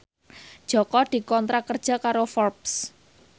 Jaka dikontrak kerja karo Forbes